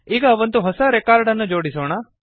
ಈಗ ಒಂದು ಹೊಸ ರೆಕಾರ್ಡ್ ಅನ್ನು ಜೋಡಿಸೋಣ